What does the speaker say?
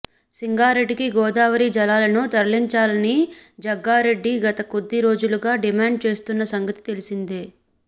సంగారెడ్డికి గోదావరి జలాలను తరలించాలని జగ్గారెడ్డి గత కొద్ది రోజులుగా డిమాండ్ చేస్తున్న సంగతి తెలిసిందే